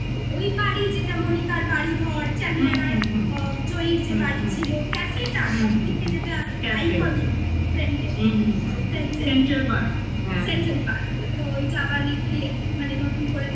ওই বাড়ি যেটা মনিকার বাড়ি ধর Changlar জয়ীর যে বাড়ি ছিল cafe টা সব থেকে যেটা iconic friend -এর হুম হুম ওই friend -এর central park হ্যাঁ central park তো ওইটা আবার recreate মানে নতুন করে